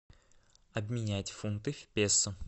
обменять фунты в песо